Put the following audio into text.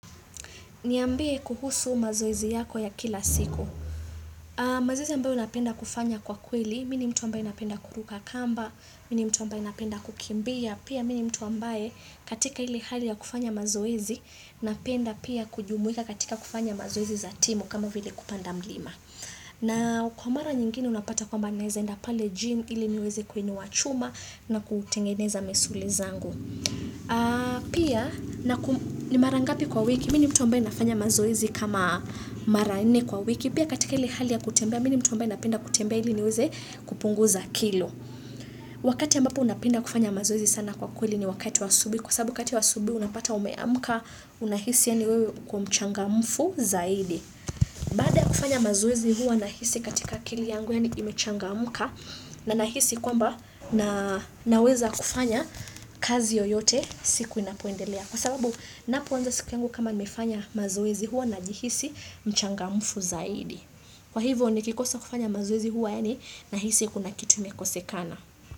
Niambie kuhusu mazoezi yako ya kila siku. Mazoezi ambayo napenda kufanya kwa kweli, mini mtu ambaye napenda kuruka kamba, mini mtu ambaye napenda kukimbia, pia mini mtu ambaye katika ili hali ya kufanya mazoezi, napenda pia kujumuika katika kufanya mazoezi za timu kama vile kupanda mlima. Na kwa mara nyingine unapata kwamba naeza enda pale gym, ili niweze kuinuwa chuma na kutengeneza misuli zangu. Pia ni marangapi kwa wiki, mini mtu ambae nafanya mazoezi kama mara nne kwa wiki Pia katika hili hali ya kutembea, mini mtu ambae napenda kutembea hili niweze kupunguza kilo Wakati ambapo napenda kufanya mazoezi sana kwa kweli ni wakati wa asubui Kwa sababu kati wa asubui unapata umeamuka unahisi ya niwewe uko mchanga mfu zaidi kufanya mazoezi huwa nahisi katika akili yangu yani imechangamuka na nahisi kwamba naweza kufanya kazi yoyote siku inapoendelea. Kwa sababu napo wanza siku yangu kama nimefanya mazoezi huwa na jihisi mchangamufu zaidi. Kwa hivyo nikikosa kufanya mazowezi huwa yani nahisi kuna kitu imekosekana.